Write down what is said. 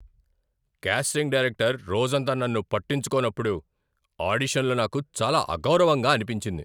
Casting director రోజంతా నన్ను పట్టించుకోనప్పుడు ఆడిషన్లో నాకు చాలా అగౌరవంగా అనిపించింది.